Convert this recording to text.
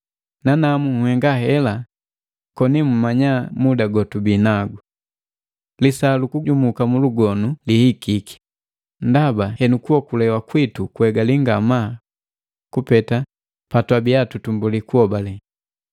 Nanamu nhenga hela, koni muumanya muda gotubi nagu. Lisaa lukujumuka mulugonu lihikiki, ndaba henu kuokolewa kwitu kuhegali ngamaa kupeta patwabia tutumbuli kuhobale.